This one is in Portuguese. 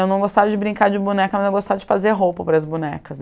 Eu não gostava de brincar de boneca, mas eu gostava de fazer roupa para as bonecas.